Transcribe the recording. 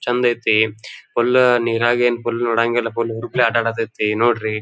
ಚೆಂದ ಅಯ್ತಿ ಫುಲ್ ನೆರಗಿನ ಏನ್ ಫುಲ್ ನೋಡಂಗಿಲ್ಲ ಫುಲ್ ಹುರುಪ್ಲೇ ಆಟ ಆಡಿದ ಇರ್ತೈತಿ ನೋಡ್ರಿ.